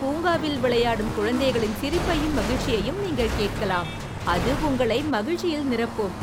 பூங்காவில் விளையாடும் குழந்தைகளின் சிரிப்பையும் மகிழ்ச்சியையும் நீங்கள் கேட்கலாம், அது உங்களை மகிழ்ச்சியில் நிரப்பும்.